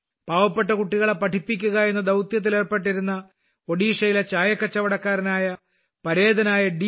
പാവപ്പെട്ട കുട്ടികളെ പഠിപ്പിക്കുക എന്ന ദൌത്യത്തിൽ ഏർപ്പെട്ടിരുന്ന ഒഡീഷയിലെ ചായക്കച്ചവടക്കാരനായ പരേതനായ ഡി